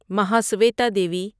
Mahasweta Devi